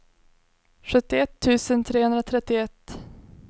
sjuttioett tusen trehundratrettioett